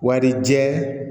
Warijɛ